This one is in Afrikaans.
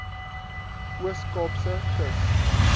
oos kaapse kus